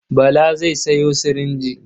Bala zai sayo sirinji.